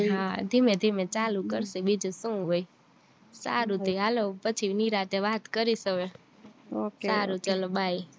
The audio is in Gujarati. હા ધીમે ધીમે ચાલુ કરશું બીજું શું હોય સારું તય હાલો પછી નિરાતે વાત કરીશ હવે સારું ચાલો bye